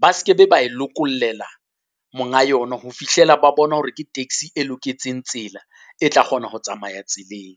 ba ske be ba e lokollela monga yona, ho fihlela ba bona hore ke taxi e loketseng tsela, e tla kgona ho tsamaya tseleng.